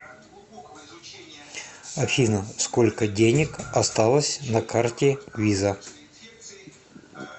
афина сколько денег осталось на карте виза